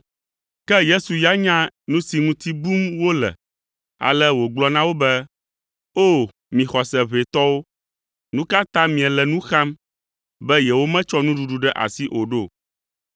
Ke Yesu ya nya nu si ŋuti bum wole ale wògblɔ na wo be, “O! Mi xɔse ʋɛ tɔwo! Nu ka ta miele nu xam be yewometsɔ nuɖuɖu ɖe asi o ɖo?